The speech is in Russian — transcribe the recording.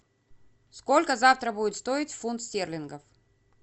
сколько завтра будет стоить фунт стерлингов